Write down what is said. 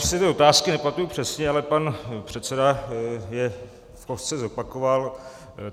Já už si ty otázky nepamatuji přesně, ale pan předseda je v kostce zopakoval.